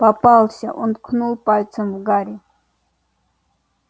попался он ткнул пальцем в гарри